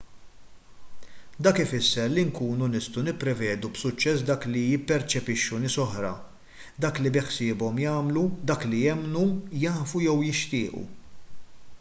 dak ifisser li nkunu nistgħu nipprevedu b'suċċess dak li jipperċepixxu nies oħra dak li beħsiebhom jagħmlu dak li jemmnu jafu jew jixtiequ